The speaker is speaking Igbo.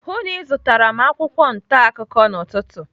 Hụụ na ịzụtara m akwụkwọ ntaakụkọ n'ụtụtụ.